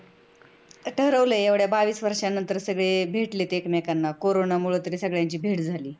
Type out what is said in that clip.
ठरवलय एवढ्या बावीस वर्ष्यानंतर सगळे भेटलेत एकमेकांना कोरोनामुळे तरी सगळ्यांची भेट झाली.